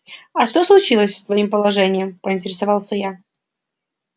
а что случилось с твоим положением поинтересовался я